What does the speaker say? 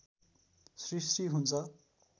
सृष्टि हुन्छ